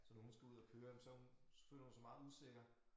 Så når hun skal ud og køre men så hun så føler hun sig meget usikker